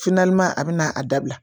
a bɛna a dabila